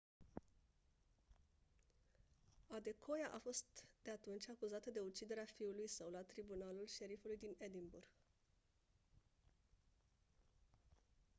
adekoya a fost de atunci acuzată de uciderea fiului său la tribunalul șerifului din edinburgh